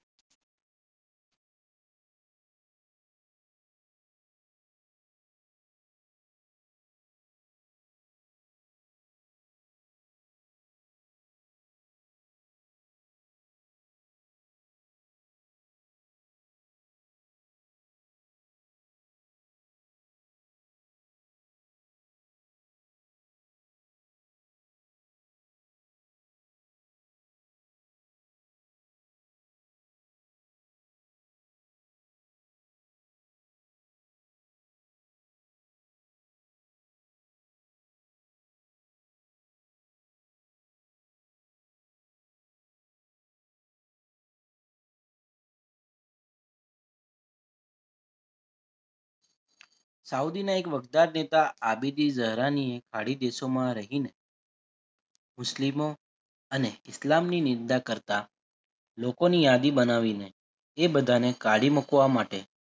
સાઉદીના એક વદ્દાર નેતા આદિબી સહારા ની અરબ દેશોમાં રહીને મુસ્લિમો અને ઇસ્લામ ની નિંદા કરતા લોકોની યાદી બનાવીને એ બધાને કાઢી મૂકવા માટે